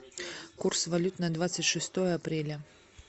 курс валют на двадцать шестое апреля